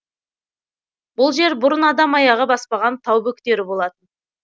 бұл жер бұрын адам аяғы баспаған тау бөктері болатын